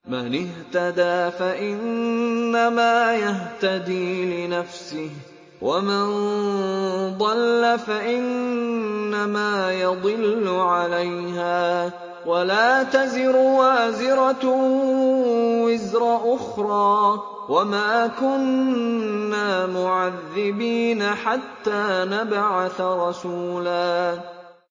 مَّنِ اهْتَدَىٰ فَإِنَّمَا يَهْتَدِي لِنَفْسِهِ ۖ وَمَن ضَلَّ فَإِنَّمَا يَضِلُّ عَلَيْهَا ۚ وَلَا تَزِرُ وَازِرَةٌ وِزْرَ أُخْرَىٰ ۗ وَمَا كُنَّا مُعَذِّبِينَ حَتَّىٰ نَبْعَثَ رَسُولًا